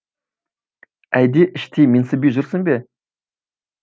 әлде іштей менсінбей жүрсің бе